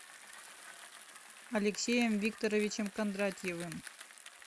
алексеем викторовичем кондратьевым